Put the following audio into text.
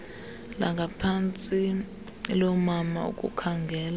langaphantsi loomama ukukhangela